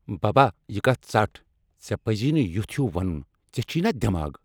ببا، یہ کتھ ژٹھ ژےٚ پزی نہٕ یُتھ ہِیو ونُن ژےٚ چُھیہٕ نا دماغ ؟